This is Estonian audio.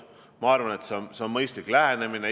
Ma arvan, et see on mõistlik lähenemine.